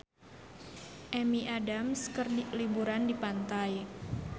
Amy Adams keur liburan di pantai